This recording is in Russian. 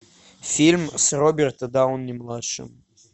фильм с робертом дауни младшим